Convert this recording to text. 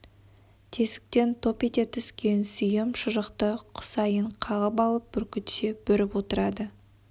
тесіктен топ ете түскен сүйем шұжықты құсайын қағып алып бүркітше бүріп отырады